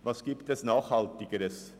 Was gibt es Nachhaltigeres?